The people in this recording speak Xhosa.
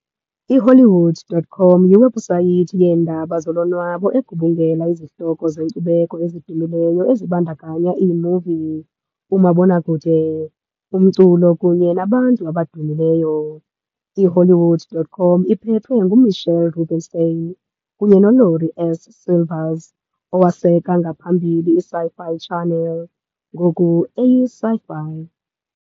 IHollywood.com yiwebhusayithi yeendaba zolonwabo egubungela izihloko zenkcubeko ezidumileyo ezibandakanya iimuvi, umabonwakude, umculo kunye nabantu abadumileyo. IHollywood.com iphethwe nguMitchell Rubenstein kunye noLaurie S. Silvers, owaseka ngaphambili iSci-Fi Channel, ngoku eyiSyFy.